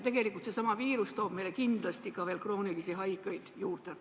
Tegelikult seesama viirus toob meile kindlasti ka veel kroonilisi haigeid juurde.